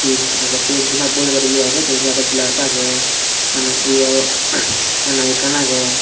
et aage se jempai bore tobar ye aage te eni aaro glass aage ana yo ana ekkan aage.